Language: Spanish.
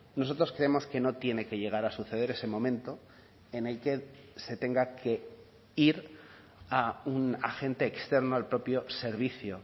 nosotros creemos que no tiene que llegar a suceder ese momento en el que se tenga que ir a un agente externo al propio servicio